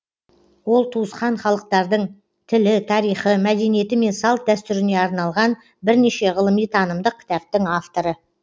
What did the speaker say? ол туысқан халықтардың тілі тарихы мәдениеті мен салт дәстүріне арналған бірнеше ғылыми танымдық кітаптың авторы